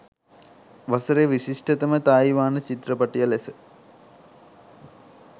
වසරේ විශිෂ්ටතම තායිවාන චිත්‍රපටිය ලෙස